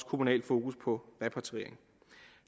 kommunal fokus på repatriering